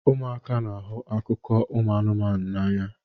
Ụmụaka n'ahụ akụkọ anụmanụ n'anya